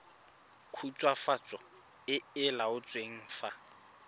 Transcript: khutswafatso e e laotsweng fa